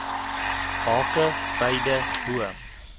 hake beide bo